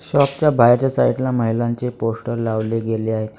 Shop च्या बाहेरच्या side ला महिलांचे पोस्टर लावले गेले आहे.